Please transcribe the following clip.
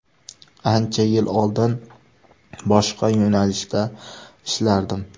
Ancha yil oldin boshqa yo‘nalishda ishlardim.